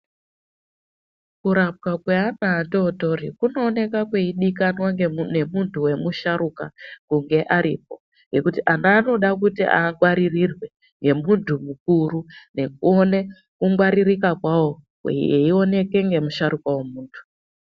Kurapwa kweana adodori kunoonekwapo kweidiwa ngemuntu wemusharuka kunge aripo ngekuti ana anoda kunzi angwaririrwe ngemuntu mukuru ngekuone eiwoneke ngemusgaruka wemumba.